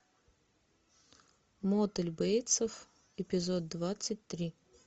мотель бейтсов эпизод двадцать три